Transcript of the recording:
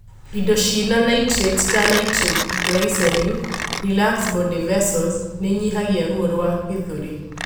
Indo ciĩna Nitrates ta nitroglycerin, relax blood vessels nĩinyihagia ruo rwa gĩthũri